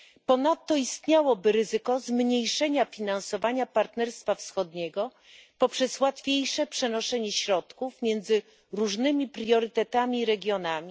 Ponadto istniałoby ryzyko zmniejszenia finansowania Partnerstwa Wschodniego poprzez łatwiejsze przenoszenie środków między różnymi priorytetami i regionami.